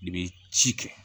I bɛ ci kɛ